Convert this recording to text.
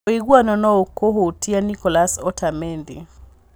Ũiguano nōũkahutia Nicholas Otamendi